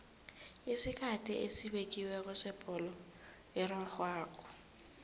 isikhathi esibekiweko sebholo erarhwako